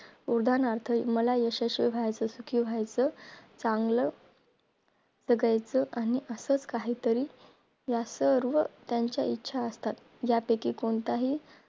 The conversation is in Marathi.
उदाहरणात मला यशस्वी व्हायचं कि व्हायचं चागलं जगायचं आणि असे काही तरी या सर्व त्याच्या इच्छा असतात या पैकी कोणताही